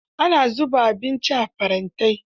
Ana zuba abinci a farantai.